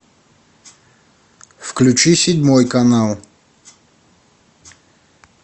включи седьмой канал